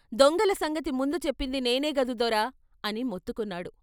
దొంగల సంగతి ముందు చెప్పింది నేనేగదు దొరా !" అని మొత్తుకున్నాడు.